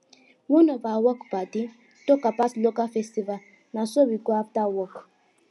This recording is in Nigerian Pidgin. one of our work padi talk about local festival na so we go after work